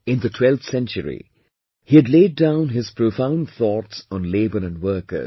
In the 12th century, he had laid down his profound thoughts on labour & workers